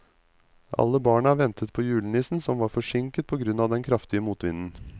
Alle barna ventet på julenissen, som var forsinket på grunn av den kraftige motvinden.